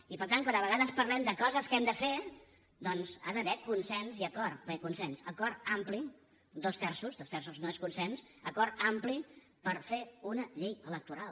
i per tant quan a vegades parlem de coses que hem de fer doncs hi ha d’haver consens i acord bé consens acord ampli dos terços dos terços no és consens acord ampli per fer una llei electoral